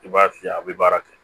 I b'a fiyɛ a bi baara kɛ